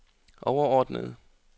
overordnede